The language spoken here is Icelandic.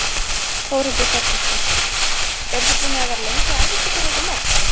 Þórhildur Þorkelsdóttir: Eruð þið búnir að vera lengi að æfa ykkur fyrir þetta mót?